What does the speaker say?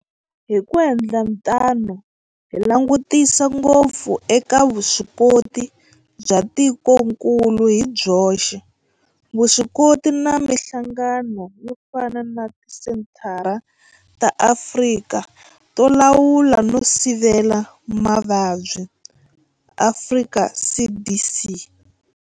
Hi ku endla tano hi langutisa ngopfu eka vuswikoti bya tikokulu hi byoxe, vuswikoti na mihlangano yo fana na Tisenthara ta Afrika to Lawula no Sivela Mavabyi, Afrika CDC.